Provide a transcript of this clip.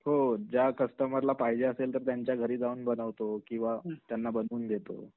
हो ज्या कस्टमर ला पाहिजे असेल तर त्यांच्या घरी जाऊन बनवतो किंवा त्यांना बनवून देतो.